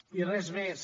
i res més